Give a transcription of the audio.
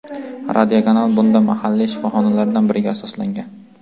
Radiokanal bunda mahalliy shifoxonalardan biriga asoslangan.